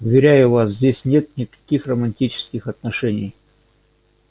уверяю вас здесь нет никаких романтических отношений